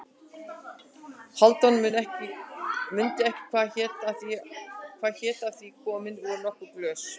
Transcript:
Hálfdán mundi ekki hvað hét af því komin voru nokkur glös.